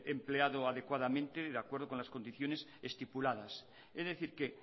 empleado adecuadamente de acuerdo con las condiciones estipuladas es decir que